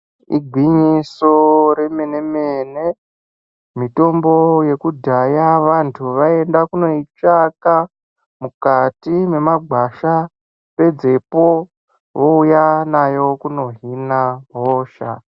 Igwinyiso remene mene mitombo yekudhaya vanhu vaienda kundoitsvaka mukati mwemagwasha pedzepo vouya nayo kunohina hosha.